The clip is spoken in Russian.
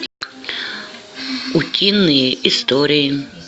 утиные истории